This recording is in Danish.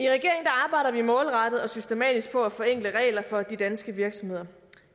i målrettet og systematisk på at forenkle regler for de danske virksomheder